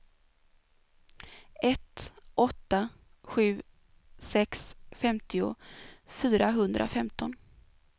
ett åtta sju sex femtio fyrahundrafemton